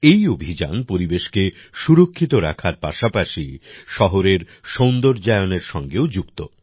এই অভিযান পরিবেশকে সুরক্ষিত রাখার পাশাপাশি শহরের সৌন্দর্যায়নের সঙ্গেও যুক্ত